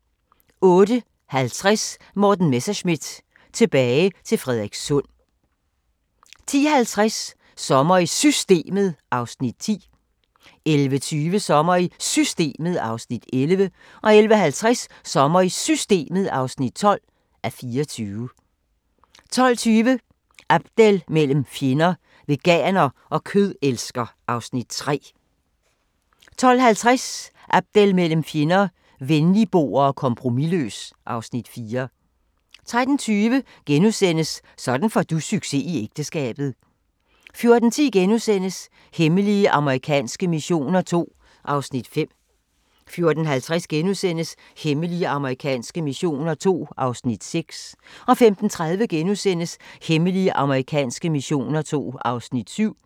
08:50: Morten Messerschmidt – tilbage til Frederikssund 10:50: Sommer i Systemet (10:24) 11:20: Sommer i Systemet (11:24) 11:50: Sommer i Systemet (12:24) 12:20: Abdel mellem fjender – Veganer og kødelsker (Afs. 3) 12:50: Abdel mellem fjender – Venligboer og kompromisløs (Afs. 4) 13:20: Sådan får du succes i ægteskabet * 14:10: Hemmelige amerikanske missioner II (Afs. 5)* 14:50: Hemmelige amerikanske missioner II (Afs. 6)* 15:30: Hemmelige amerikanske missioner II (Afs. 7)*